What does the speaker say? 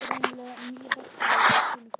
Greinilega nývaknaður og í fínu formi.